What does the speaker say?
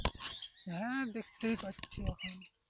হ্যাঁ দেখতেই পাচ্ছি,